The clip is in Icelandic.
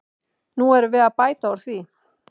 Nú erum við að bæta úr því.